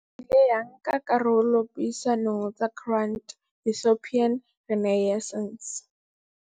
AU e ile ya nka karolo dipuisanong tsa Grand Ethiopian Renaissance.